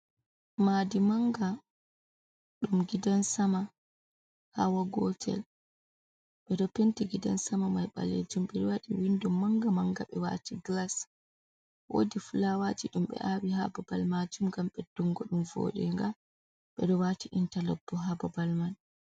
Madi manga dum gidan sama hawa gotel, bedo penti gidan sama mai baleju bewadi windum manga manga be wati glas, wodi fulawaji dum be awi ha babal majum, gam beddungo dum vodinga be do wati intalos bo ha babal man.